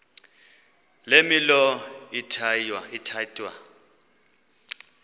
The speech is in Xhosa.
le milo ithatya